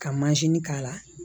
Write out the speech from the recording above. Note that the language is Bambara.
Ka k'a la